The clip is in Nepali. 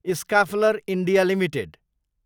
Schaeffler India Ltd